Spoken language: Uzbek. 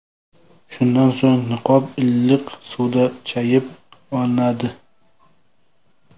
Shundan so‘ng niqob iliq suvda chayib olinadi.